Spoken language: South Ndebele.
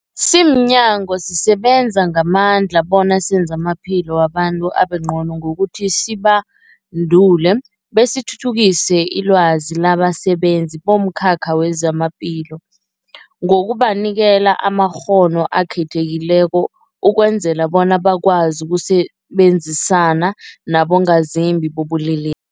Simnyango, sisebenza ngamandla bona senze amaphilo wabantu abengcono ngokuthi sibandule besithuthukise ilwazi labasebenzi bomkhakha wezamaphilo ngokubanikela amakghono akhethekileko ukwenzela bona bakwazi ukusebenzisana nabongazimbi bobulele